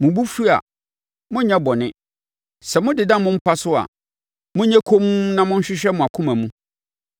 Mo bo fu a, monnyɛ bɔne; sɛ modeda mo mpa so a, monyɛ komm na monhwehwɛ mo akoma mu.